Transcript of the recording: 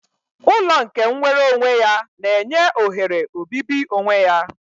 Ụlọ nke nwere onwe ya na-enye ohere obibi onwe ya